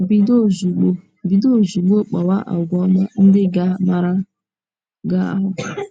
Bido ozugbo Bido ozugbo kpawa àgwà ọma ndị ga - amara gị ahụ́.